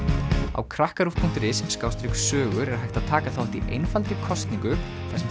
á krakkaruv punktur is sogur er hægt að taka þátt í einfaldri kosningu þar sem